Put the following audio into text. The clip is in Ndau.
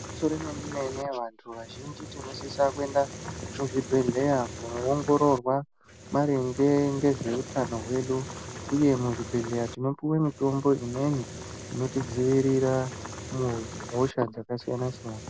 Igwinyiso remenemene vantu vazhinji tinosisa kuenda kuzvibhehleya kunoongororwa maringe ngezveutano hwedu uye muzvibhehleya tinopiwe mitombo imweni inotidziirire muhosha dzakasiyanasiyana.